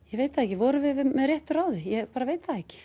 ég veit það ekki vorum við með réttu ráði ég bara veit það ekki